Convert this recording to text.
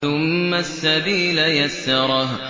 ثُمَّ السَّبِيلَ يَسَّرَهُ